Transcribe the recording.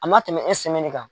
A ma tɛmɛ kan.